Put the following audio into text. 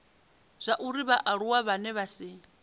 zwauri vhaaluwa vhane vha si